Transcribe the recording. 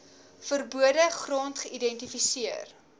verbode gronde geïdentifiseer